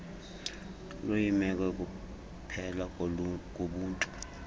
luyimeko yokuphela kobuntu